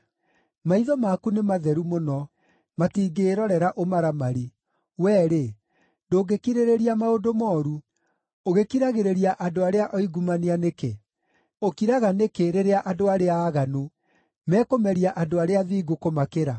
Maitho maku nĩ matheru mũno, matingĩĩrorera ũmaramari; wee-rĩ, ndũngĩkirĩrĩria maũndũ mooru. Ũgĩkiragĩrĩria andũ arĩa oingumania nĩkĩ? Ũkiraga nĩkĩ rĩrĩa andũ arĩa aaganu mekũmeria andũ arĩa athingu kũmakĩra?